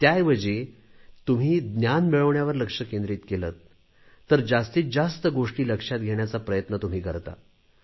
त्याऐवजी तुम्ही ज्ञान मिळवण्यावर लक्ष केंद्रीत केलेत तर जास्तीत जास्त गोष्टी लक्षात घेण्याचा प्रयत्न तुम्ही करता